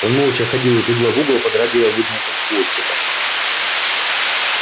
он молча ходил из угла в угол подрагивая вытянутым хвостиком